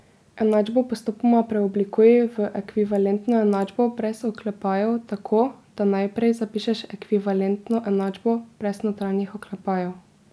Enačbo postopoma preoblikuj v ekvivalentno enačbo brez oklepajev tako, da najprej zapišeš ekvivalentno enačbo brez notranjih oklepajev.